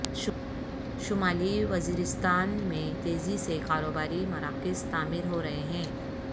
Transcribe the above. شمالی وزیرستان میں تیزی سے کاروباری مراکز تعمیر ہو رہے ہیں